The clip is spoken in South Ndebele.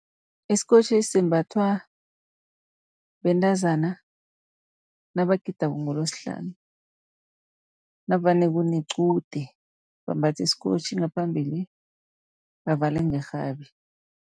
Isikotjhi simbathwa bentazana nabagidako ngeLesihlanu, navane kunequde bambatha isikotjhi ngaphambili bavale ngerhabi.